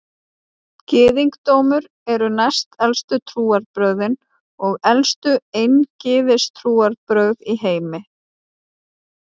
Gyðingdómur eru næstelstu trúarbrögðin og elstu eingyðistrúarbrögð í heimi.